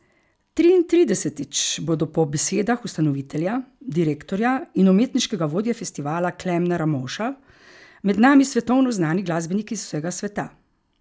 Triintridesetič bodo po besedah ustanovitelja, direktorja in umetniškega vodje festivala Klemna Ramovša med nami svetovno znani glasbeniki z vsega sveta.